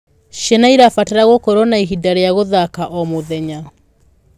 Ciana irabatara gũkorwo na ihinda ric guthaka o mũthenya